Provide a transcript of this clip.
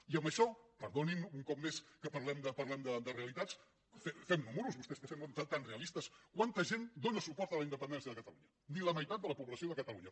i en això perdonin un cop més que parlem de realitats fem números vostès que semblen tan realistes quanta gent dóna suport a la independència de catalunya ni la meitat de la població de catalunya